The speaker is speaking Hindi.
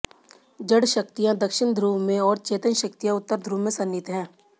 जड़ शक्तियां दक्षिण ध्रुव में और चेतन शक्तियां उत्तर ध्रुव में सन्निहित हैं